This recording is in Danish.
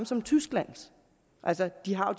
som tyskland altså de har